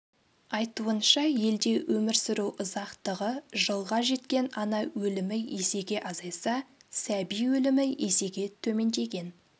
айтуынша елде өмір сүру ұзақтығы жылға жеткен ана өлімі есеге азайса сәби өлімі есеге төмендеген